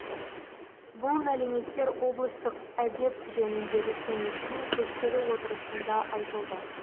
бұл мәліметтер облыстық әдеп жөніндегі кеңестің көшпелі отырысында айтылды